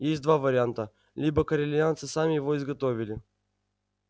есть два варианта либо корелианцы сами его изготовили